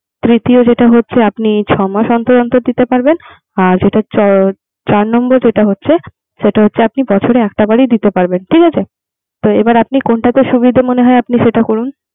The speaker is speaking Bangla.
তৃতীয় যেটা হচ্ছে আপনি ছয় মাস অন্তর অন্তর দিতে পারবেন। আর চার চার নম্বর যেটা হচ্ছে বছরে একটা বারে দিতে পারবেন। ঠিক আছে তো এবার আপনার কোনটাতে সুবিধা মনে হয় সেটা করুন।